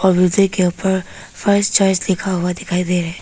Building के ऊपर first choice लिखा हुआ दिखाई दे रहा है।